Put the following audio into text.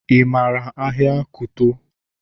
Ị maara ahịa Kuto?